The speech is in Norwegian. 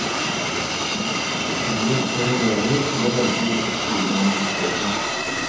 Frihet for elever til å velge hvilken skole man vil gå på.